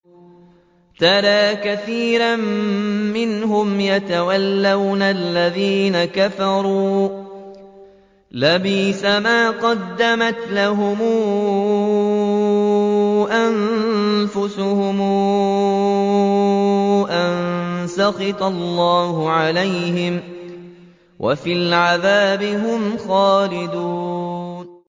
تَرَىٰ كَثِيرًا مِّنْهُمْ يَتَوَلَّوْنَ الَّذِينَ كَفَرُوا ۚ لَبِئْسَ مَا قَدَّمَتْ لَهُمْ أَنفُسُهُمْ أَن سَخِطَ اللَّهُ عَلَيْهِمْ وَفِي الْعَذَابِ هُمْ خَالِدُونَ